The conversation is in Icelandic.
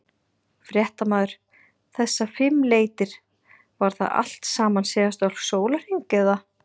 Fréttamaður: Þessar fimm leitir, var það allt saman síðasta sólarhring eða?